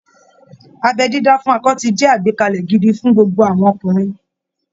Abẹ́ dídá fún akọ ti jẹ́ àgbékalẹ̀ gidi fún gbogbo àwọn ọkùnrin